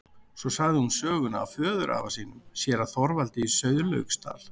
Svo sagði hún söguna af föðurafa sínum, séra Þorvaldi í Sauðlauksdal.